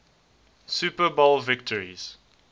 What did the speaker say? super bowl victories